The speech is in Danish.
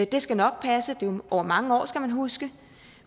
det skal nok passe det er over mange år skal man huske